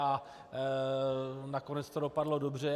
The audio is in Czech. A nakonec to dopadlo dobře.